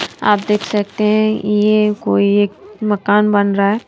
आप देख सकते हैं यह कोई एक मकान बन रहा है।